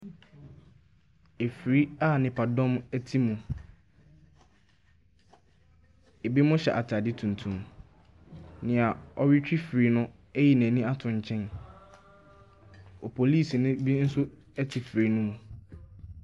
Afiri a nnipadɔm te, binom hyɛ ataade tuntum, nea ɔretwi afiri no ayi n’ani ato nkyɛn, opolisini bi nso te afiri no mu.